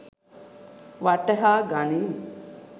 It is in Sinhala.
වටහා ගනියි.